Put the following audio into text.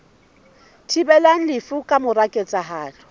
thibelang lefu ka mora ketsahalo